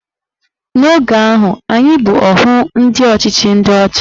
N'oge ahụ, anyị bụ ohu ndị ọchịchị ndị ọcha